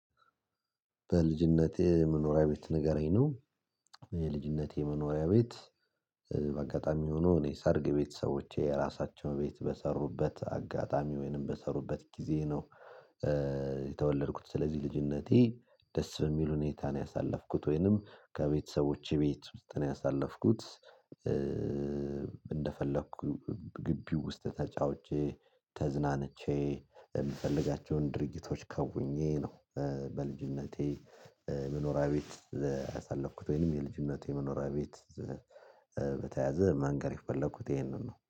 በልጅነቴ መኖሪያ ቤት ንገረኝ ነው። የልጅነቴ መኖሪያ ቤት። በአጋጣሚ ሆኖ እኔ ሰርግ ቤተሰቦቼ የራሳቸው ቤት በሰሩበት አጋጣሚ ወይንም በሰሩበት ጊዜ ነው። የተወለድኩት ስለዚህ ልጅነቴ ደስ በሚል ሁኔታ ነው ያሳለፍኩት ወይንም ከቤተሰቦቼ ቤት ውስጥ ነው ያሳለፍኩት። እንደፈለኩኝ ግቢው ውስጥ ተጫውቼ ተዝናንቼ የምፈልጋቸውን ድርጊቶች ከውኜ ነው። በልጅነቴ መኖሪያ ቤት። ያሳለፍኩት ወይም የልጅነቴ መኖሪያ ቤት። በተያዘ ማንገር የፈለኩት ይሄንን ነው